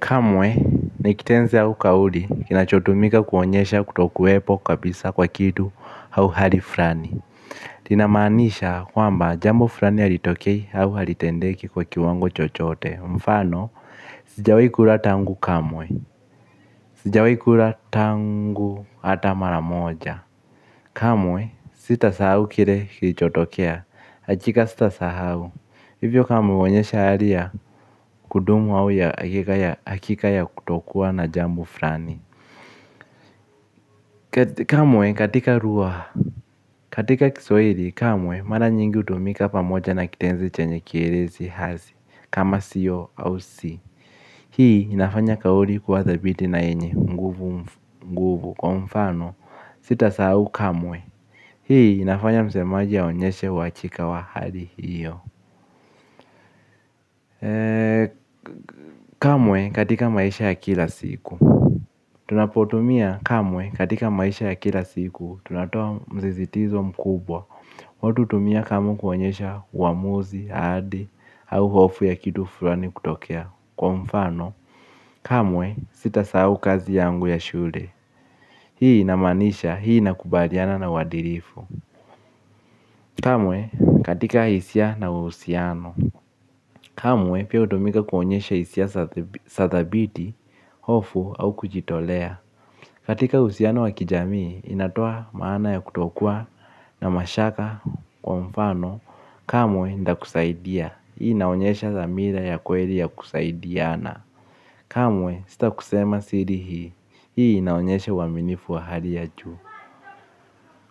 Kamwe, ni kitenzi au kauli, kinachotumika kuonyesha kutokuwepo kabisa kwa kitu au hali fulani. Inamaanisha kwamba jambo fulani halitokei au halitendeki kwa kiwango chochote. Mfano, sijawahi kula tangu kamwe. Sijawahi kula tangu hata mara moja. Kamwe, sitasahau kile kilichotokea. Hakika sitasahau. Hivyo kamwe huonyesha hali ya kudumu au ya hakika ya kutokuwa na jambo fulani. Kamwe katika lugha katika kiswahili kamwe mara nyingi hutumika pamoja na kitenzi chenye kielezi hasi. Kama siyo au si hii inafanya kauli kuwa thabiti na yenye nguvu nguvu kwa mfano. Sitasahau kamwe. Hii inafanya msemaji aonyeshe uhakika wa hali hiyo. Kamwe katika maisha ya kila siku. Tunapotumia kamwe katika maisha ya kila siku tunatoa msisitizo mkubwa. Watu hutumia kamwe kuonyesha uamuzi, ahadi au hofu ya kitu fulani kutokea. Kwa mfano kamwe sitasahau kazi yangu ya shule. Hii inamaanisha hii inakubaliana na uadilifu. Kamwe katika hisia na uhusiano. Kamwe pia hutumika kuonyesha hisia za thabiti. Hofu au kujitolea. Katika uhusiano wa kijamii, inatoa maana ya kutokuwa na mashaka kwa mfano, kamwe nitakusaidia, hii inaonyesha dhamira ya kweli ya kusaidiana, kamwe sitakusema siri hii, hii inaonyesha uaminifu wa hali ya juu.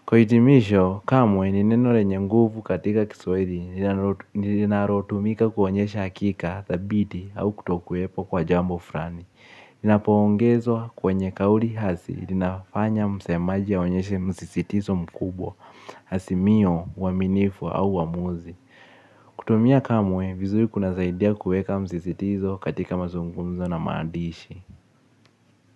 Kwa hitimisho, kamwe ni neno lenye nguvu katika kiswahili linalotumika kuonyesha hakika, thabiti au kutokuwepo kwa jambo fulani. Linapoongezwa kwenye kauli hasi, linafanya msemaji aonyeshe msisitizo mkubwa, azimio, uaminifu au uamuzi. Kutumia kamwe vizuri kunasaidia kuweka msisitizo katika mazungumzo na maadishi.